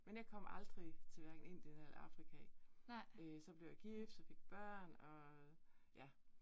Men jeg kom aldrig til hverken Indien eller Afrika. Øh så blev jeg gift, så fik børn og ja